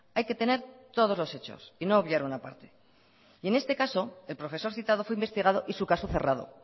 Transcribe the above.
hay que tener todos los hechos y no obviar una parte y en este caso el profesor citado fue investigado y su caso cerrado